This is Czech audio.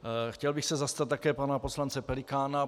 Chtěl bych se zastat také pana poslance Pelikána.